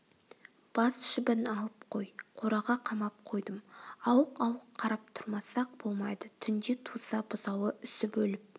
бас жібін алып қой қораға қамап қойдым ауық-ауық қарап тұрмасақ болмайды түнде туса бұзауы үсіп өліп